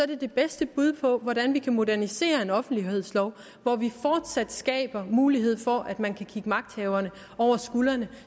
det det bedste bud på hvordan vi kan modernisere en offentlighedslov hvor vi fortsat skaber mulighed for at man kan kigge magthaverne over skuldrene